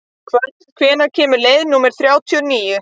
Hvönn, hvenær kemur leið númer þrjátíu og níu?